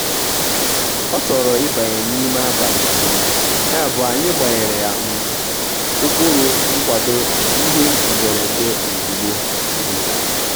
ọ́ chọ̀rọ̀ ị́bànyé n'ime àbàlị̀ um yàbụ̀ anyị́ gbànyèrè um ụ́kpụ́rụ́ nkwàdò ìhè mberede ozùgbo. um